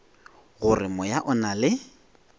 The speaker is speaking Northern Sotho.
gore moya o na le